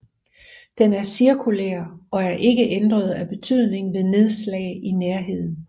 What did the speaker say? Den er cirkulær og er ikke ændret af betydning ved nedslag i nærheden